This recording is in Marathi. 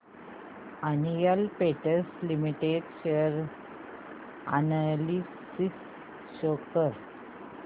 Asian Paints limited share analysis show कर